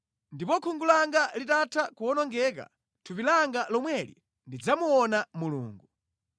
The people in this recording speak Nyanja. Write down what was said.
Ndipo khungu langa litatha nʼkuwonongeka, mʼthupi langa lomweli ndidzamuona Mulungu.